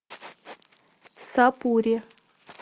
сапури